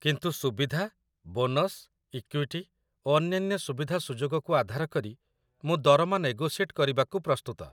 କିନ୍ତୁ ସୁବିଧା, bonus, equity, ଓ ଅନ୍ୟାନ୍ୟ ସୁବିଧାସୁଯୋଗକୁ ଆଧାର କରି ମୁଁ ଦରମା ନେଗୋସିଏଟ୍ କରିବାକୁ ପ୍ରସ୍ତୁତ